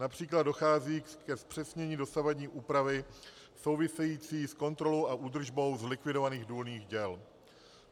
Například dochází ke zpřesnění dosavadní úpravy související s kontrolou a údržbou zlikvidovaných důlních děl.